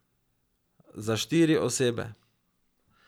Za štiri osebe.